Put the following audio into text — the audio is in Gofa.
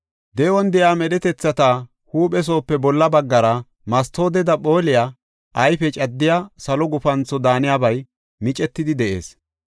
De7on de7iya medhetethata huuphe soope bolla baggara mastooteda phoolidi ayfe caddiya salo gufantho daaniyabay micetidi de7ees.